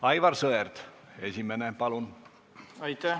Aivar Sõerd, esimene, palun!